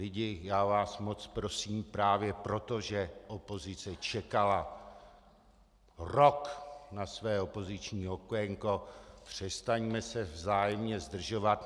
Lidi, já vás moc prosím právě proto, že opozice čekala rok na své opoziční okénko, přestaňme se vzájemně zdržovat.